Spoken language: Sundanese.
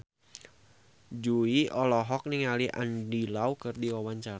Jui olohok ningali Andy Lau keur diwawancara